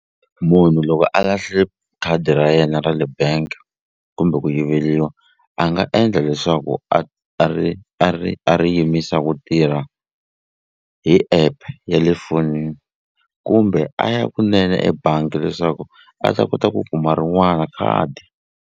Munhu loko a lahle khadi ra yena ra le bank kumbe ku yiveliwa a nga endla leswaku a ri a ri a ri yimisa ku tirha hi app ya le fonini kumbe a ya kunene ebangi leswaku a ta kota ku kuma rin'wana khadi.